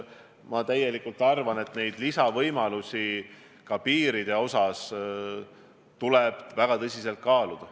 Ma tõesti arvan, et lisameetmeid ka piiridel tuleb väga tõsiselt kaaluda.